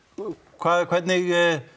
hvað hvernig